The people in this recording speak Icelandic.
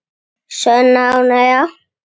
Sönn ánægja.